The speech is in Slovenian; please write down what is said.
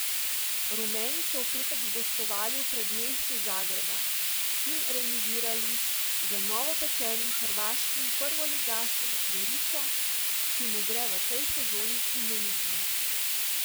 Rumeni so v petek gostovali v predmestju Zagreba in remizirali z novopečenim hrvaškim prvoligašem Gorico, ki mu gre v tej sezoni imenitno.